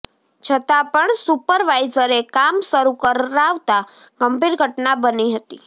છતાં પણ સુપરવાઈઝરે કામ શરૂ કરાવતા ગંભીર ઘટના બની હતી